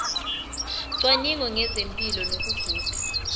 cwaningo ngezempilo nokuguga